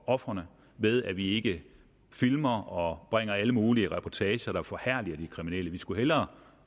ofrene ved at vi ikke filmer og bringer alle mulige reportager der forherliger de kriminelle vi skulle hellere